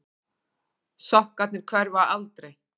Sokkarnir hverfa aldrei.